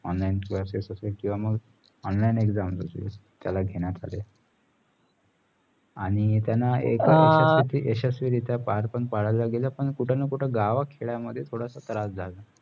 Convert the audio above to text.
online classes असेल किंवा मग online exams घेण्यात आले आणी त्याना एक यशस्वी रित्या पार पण पाडायला गेलं पण कुठेना कुठे गावा खेडा मध्ये थोडासा त्रास झला